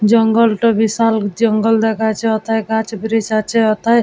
জঙ্গল টো বিশাল জঙ্গল দেখাচ্ছে ওথায় গাছ ব্রীজ আছে ওথায় --